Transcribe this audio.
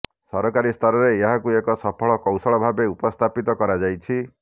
ସରକାରୀ ସ୍ତରରେ ଏହାକୁ ଏକ ସଫଳ କୌଶଳ ଭାବେ ଉପସ୍ଥାପିତ କରାଯାଇଛି